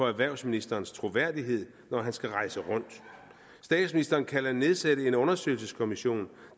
erhvervsministerens troværdighed når han skal rejse rundt statsministeren kan nedsætte en undersøgelseskommission